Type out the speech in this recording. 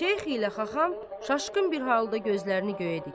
Şeyx ilə Xaxam çaşqın bir halda gözlərini göyə dikər.